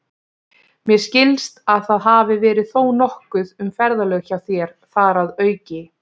Mér skilst, að það hafi verið þó nokkuð um ferðalög hjá þér þar að auki